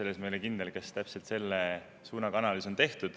Ma ei ole kindel, kas täpselt selle suunaga analüüs on tehtud.